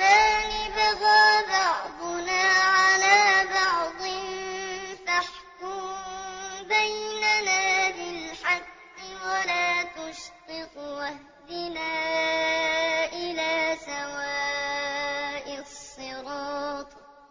إِذْ دَخَلُوا عَلَىٰ دَاوُودَ فَفَزِعَ مِنْهُمْ ۖ قَالُوا لَا تَخَفْ ۖ خَصْمَانِ بَغَىٰ بَعْضُنَا عَلَىٰ بَعْضٍ فَاحْكُم بَيْنَنَا بِالْحَقِّ وَلَا تُشْطِطْ وَاهْدِنَا إِلَىٰ سَوَاءِ الصِّرَاطِ